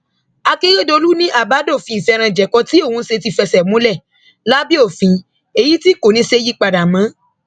akérèdọlù ni àbádòfin ìfẹranjẹko tí òun ṣe ti fẹsẹ múlẹ lábẹ òfin èyí tí kò ní í ṣeé yípadà mọ